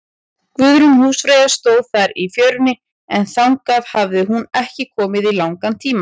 Guðrún húsfreyja stóð þar í fjörunni, en þangað hafði hún ekki komið í langan tíma.